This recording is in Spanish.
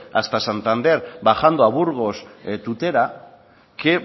hasta santander bajando a burgos tutera que